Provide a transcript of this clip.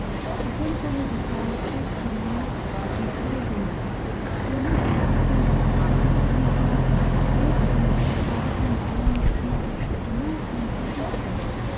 અજંતાની ગુફાઓ એક સમયે વિસરાઈ ગઈ હતી. તેને ઈસ્વીસન અઢારસો ઓગણીસમાં એક અંગ્રેજ Captain John Smith એ પુનઃસંશોધિત કરી.